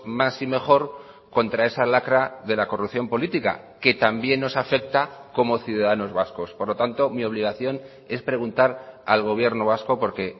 más y mejor contra esa lacra de la corrupción política que también nos afecta como ciudadanos vascos por lo tanto mi obligación es preguntar al gobierno vasco porque